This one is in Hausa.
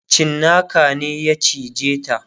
cinnaka ne ya cije ta